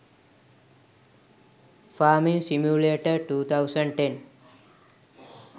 farming simulator 2010